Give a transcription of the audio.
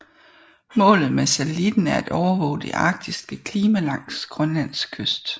Målet med satellitten er at overvåge det arktiske klima langs Grønlands kyst